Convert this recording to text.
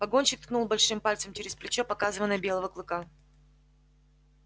погонщик ткнул большим пальцем через плечо показывая на белого клыка